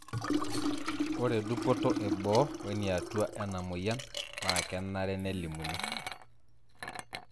Ore dupoto eboo weniatua ena moyian na kenare nelimuni.